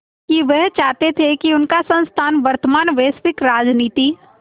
कि वह चाहते थे कि उनका संस्थान वर्तमान वैश्विक राजनीति